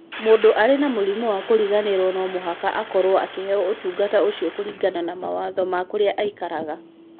Mũndũ arĩ na mũrimũ wa kĩriganĩro no mũhaka akorũo akĩheo ũtungata ũcio kũringana na mawatho ma kũrĩa aikaraga.